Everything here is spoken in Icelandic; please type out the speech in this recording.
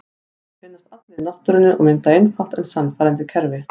Þeir finnast allir í náttúrunni og mynda einfalt en sannfærandi kerfi.